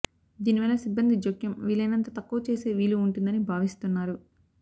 దీని వల్ల సిబ్బంది జోక్యం వీలైనంత తక్కువ చేసే వీలు ఉంటుందని భావిస్తున్నారు